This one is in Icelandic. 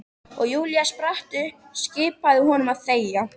Og Júlía spratt upp, skipaði honum að þegja.